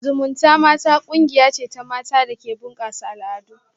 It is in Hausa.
Zumunta mata kungiya ce ta mata da ke bunkasa al'adu